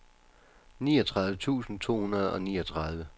niogtredive tusind to hundrede og niogtredive